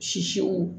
Sisiw